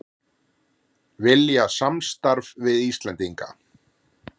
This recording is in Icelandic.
Vilja samstarf við Íslendinga